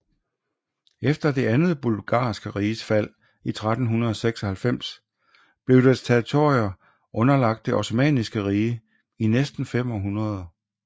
Efter det andet Bulgarske Riges fald i 1396 blev dets territorier underlagt det Osmanniske Rige i næsten fem århundreder